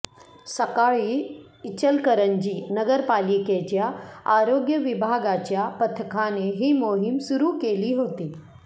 सकाळी इचलकरंजी नगरपालिकेच्या आरोग्य विभागाच्या पथकाने ही मोहीम सुरू केली होती